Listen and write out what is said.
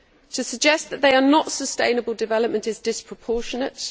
To suggest that they are not sustainable development is disproportionate.